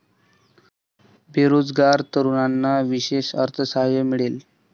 बेरोजगार तरुणांना विशेष अर्थसहाय्य मिळेल.